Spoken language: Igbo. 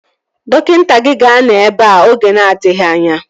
Dọkịta gị ga-anọ ebea oge na-adịghị anya